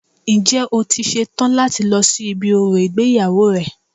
Ǹjẹ́ o ti ṣe tán láti lọ sí ibi orò ìgbéyàwó rẹ